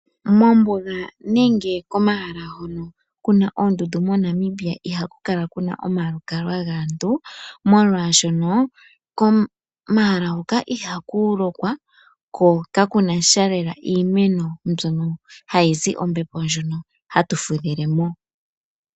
Mombuga nenge komahala hono kuna oondundu moNamibia ihaku kala kuna omalukalwa gaantu, moolwaashoka komahala hoka ihaku lokwa ko kaku nasha lela iimeno mbyono hayi zi ombepo ndjono hatu fudhile mo.